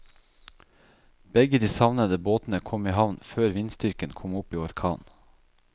Begge de savnede båtene kom i havn før vindstyrken kom opp i orkan.